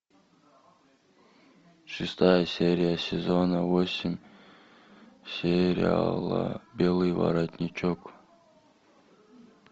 шестая серия сезона восемь сериала белый воротничок